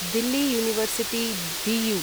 Delhi university डियु